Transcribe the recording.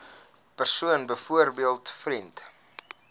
persoon byvoorbeeld vriend